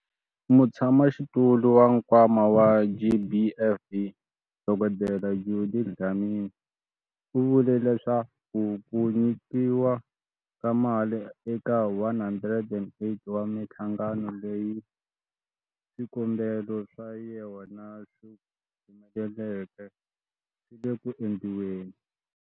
Mutshamaxitulu wa Nkwama wa GBVF, Dkd Judy Dlamini, u vule leswaku ku nyikiwa ka mali eka 108 wa mihlangano leyi swikombelo swa yona swi humeleleke swi le ku endliweni.